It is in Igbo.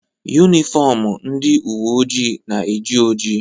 Yunifọmụ ndị uwe ojii na-eji oji.